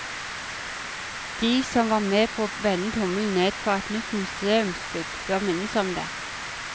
De som var med på å vende tommelen ned for et nytt museumsbygg, bør minnes om det.